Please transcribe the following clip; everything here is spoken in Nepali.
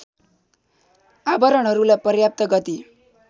आवरणहरूलाई पर्याप्त गति